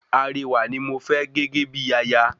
Arewà ní mofẹ́ gégé bíi aya